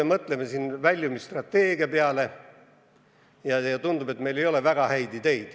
Me mõtleme väljumisstrateegia peale ja tundub, et meil ei ole väga häid ideid.